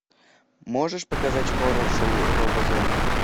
можешь показать хоррор шоу роба зомби